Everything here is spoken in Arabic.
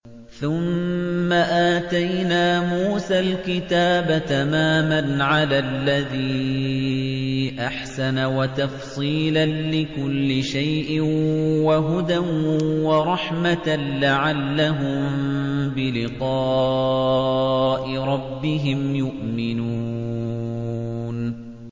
ثُمَّ آتَيْنَا مُوسَى الْكِتَابَ تَمَامًا عَلَى الَّذِي أَحْسَنَ وَتَفْصِيلًا لِّكُلِّ شَيْءٍ وَهُدًى وَرَحْمَةً لَّعَلَّهُم بِلِقَاءِ رَبِّهِمْ يُؤْمِنُونَ